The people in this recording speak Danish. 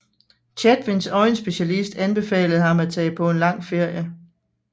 Chatwins øjenspecialist anbefalede ham at tage på en lang ferie